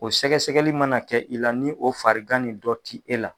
O sɛgɛsɛgɛli mana kɛ i la, ni o fagan nin dɔ te la